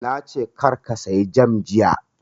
Na ce kar ka saya jam jiya!